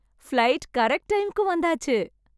Flight correct டைமுக்கு வந்தாச்சு.